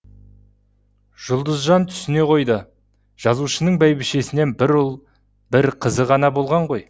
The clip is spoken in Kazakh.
жұлдызжан түсіне қойды жазушының бәйбішесінен бір ұл бір қызы ғана болған ғой